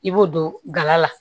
I b'o don gala la